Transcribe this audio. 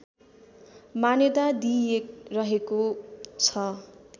मान्यता दिइरहेको छ